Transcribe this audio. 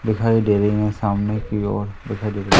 दिखाई दे रही है सामने की ओर दिखाई दे--